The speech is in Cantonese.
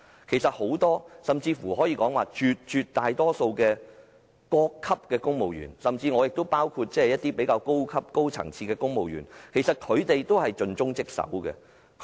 其實很多——甚至可說絕大多數的——各級公務員，包括較高級的公務員，都是盡忠職守的。